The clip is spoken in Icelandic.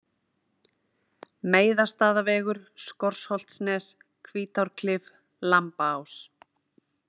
Meiðastaðavegur, Skorholtsnes, Hvítárklif, Lambaás